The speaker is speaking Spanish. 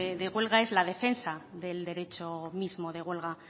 de huelga es la defensa del derecho mismo de huelga